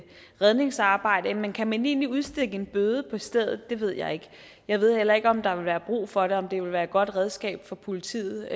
redningsarbejde men kan man egentlig udstikke en bøde på stedet det ved jeg ikke jeg ved heller ikke om der vil være brug for det og om det vil være et godt redskab for politiet